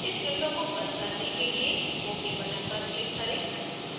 इस window को बंद करने के लिए ok button पर click करें